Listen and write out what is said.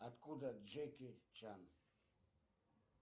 откуда джеки чан